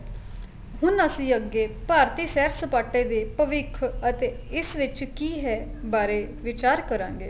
ਹੁਣ ਅਸੀਂ ਅੱਗੇ ਭਾਰਤੀ ਸੈਰ ਸਪਾਟੇ ਦੇ ਭਵਿਖ ਅਤੇ ਇਸ ਵਿੱਚ ਕੀ ਹੈ ਬਾਰੇ ਵਿਚਾਰ ਕਰਾਂਗੇ